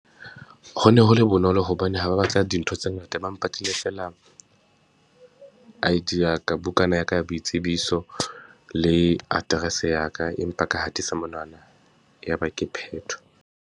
Ho ne ho le bonolo hobane ha ba batla dintho tse ngata, ba mpatlile feela. I_D ya ka, bukana ya ka ya boitsebiso, le address ya ka empa ka hatisa monwana, ya ba ke phetho.